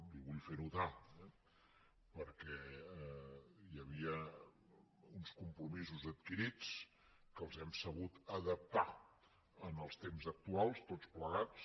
i ho vull fer notar eh perquè hi havia uns compromisos adquirits que els hem sabut adaptar als temps actuals tots plegats